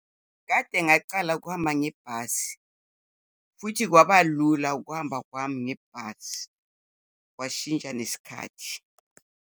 Kade ngacala ukuhamba ngebhasi futhi kwaba lula ukuhamba kwami ngebhasi. Kwashintsha nesikhathi.